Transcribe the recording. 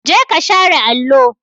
Jeka share allo!